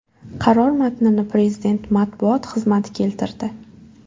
Qaror matnini Prezident matbuot xizmati keltirdi .